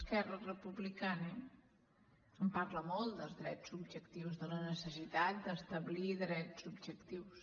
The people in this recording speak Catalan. esquerra republicana en parla molt dels drets subjectius de la necessitat d’establir drets subjectius